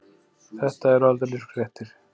Þetta eru aldeilis fréttir.